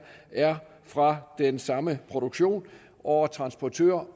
er fra den samme produktion over transportør